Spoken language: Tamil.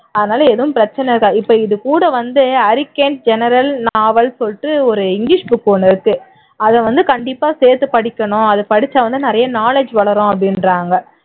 அதுனால எதுவும் பிரச்சினை இருக்காது இப்போ இது கூட வந்து general novel ன்னு சொல்லிட்டு ஒரு english book ஒண்ணு இருக்கு அதை வந்து கண்டிப்பா சேர்த்து படிக்கணும் அதை படிச்சா வந்து நிறைய knowledge வளரும் அப்படின்றாங்க